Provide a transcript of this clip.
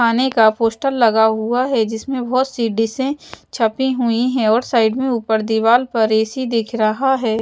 खाने का पोस्टर लगा हुआ है जिसमें बहोत सी डिशे छपी हुई है और साइड में ऊपर दीवाल पर ए_सी दिख रहा है।